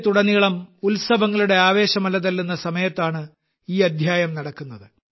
രാജ്യത്തുടനീളം ഉത്സവങ്ങളുടെ ആവേശം അലതല്ലുന്ന സമയത്താണ് ഈ അധ്യായം നടക്കുന്നത്